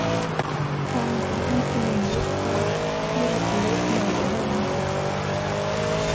Talandi um endurnýjun lífdaga, þvílíkur leikmaður og höfðingi!